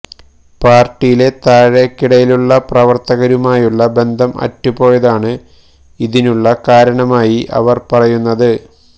പാര്ട്ടിയിലെ താഴെക്കിടയിലുളള പ്രവര്ത്തകരുമായുളള ബന്ധം അറ്റുപോയതാണ് ഇതിനുളള കാരണമായി അവര് പറയുന്നത്